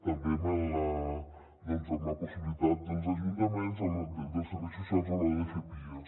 també amb la possibilitat dels ajunta·ments dels serveis socials a l’hora de fer pias